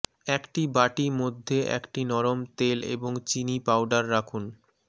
একটি বাটি মধ্যে একটি নরম তেল এবং চিনি পাউডার রাখুন